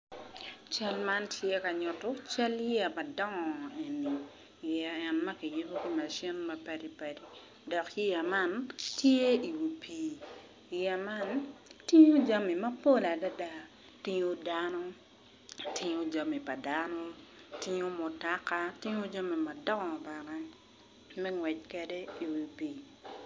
Cal man ti ka nyutu cal yeya madongo eni yeya en ma kiyubo ki macin mapadi padi dok yeya man tye i wi pii yeya man tingo jami mapol adida tingo dano tingo jami pa dano tingo mutaka tingo jami madongo bene me ngwec kede i wi pii